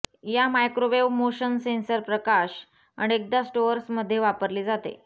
या microwave motion sensor प्रकाश अनेकदा स्टोअर्स मध्ये वापरली जाते